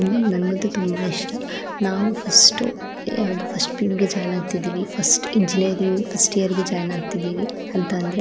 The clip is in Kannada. ನಂಗಂತೂ ತುಂಬ ಇಷ್ಟ ನಾವು ಫಸ್ಟ್ ಯಾವ್ದು ಫಸ್ಟ್ ಇಂದ ಜಾಯಿನ್ ಆಗ್ತಾ ಫಸ್ಟ್ ಇಂಜಿನಿಯರಿಂಗ್ ಫಸ್ಟ್ ಇಯರ್ ಗೆ ಫಸ್ಟ್ ಇಂದ ಜಾಯಿನ್ ಆಗ್ತಾ ಇದ್ದೀವಿ ಅಂದ್ರೆ --